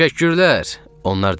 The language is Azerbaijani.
Təşəkkürlər, onlar deyirdilər.